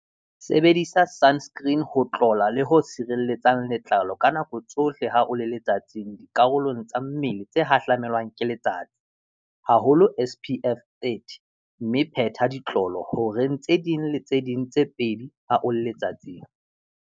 Sebedisa sunscreen ho tlola le ho sirelletsang letlalo ka nako tsohle ha o le letsatsing dikarolong tsa mmele tse hahlamelwang ke letsatsi, haholo SPF 30 mme phetha ditlolo dihoreng tse ding le tse ding tse pedi ha o le letsatsing.